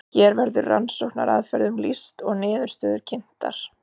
hér verður rannsóknaraðferðum lýst og niðurstöður kynntar